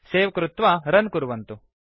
सवे कृत्वा रुन् कुर्वन्तु